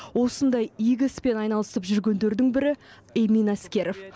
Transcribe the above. осындай игі іспен айналысып жүргендердің бірі эмин әскеров